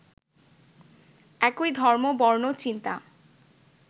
একই ধর্ম, বর্ণ, চিন্তা